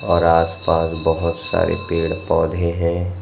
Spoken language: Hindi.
और आसपास बहुत सारे पेड़ पौधे हैं।